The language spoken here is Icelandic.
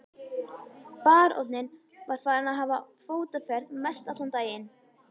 Baróninn var farinn að hafa fótaferð mestallan daginn.